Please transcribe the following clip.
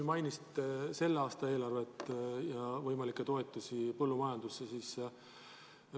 Te mainisite selle aasta eelarvet ja võimalikke põllumajandustoetusi.